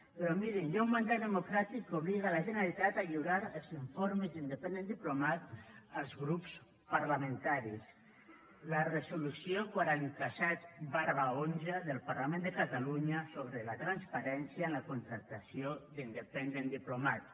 però mirin hi ha un mandat democràtic que obliga la generalitat a lliurar els informes d’independent diplomat als grups parlamentaris la resolució quaranta set xi del parlament de catalunya sobre la transparència en la contractació d’independent diplomat